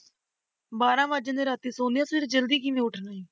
ਬਾਰਾਂ ਵੱਜ ਜਾਂਦੇ ਰਾਤੀ ਸੋਂਦਿਆਂ ਫਿਰ ਜ਼ਲਦੀ ਕਿਹਨੇ ਉਠਣਾ ਹੈ।